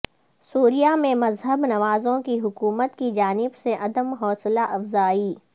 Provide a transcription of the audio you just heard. سوریہ میں مذہب نوازوں کی حکومت کی جانب سے عدم حوصلہ افزائی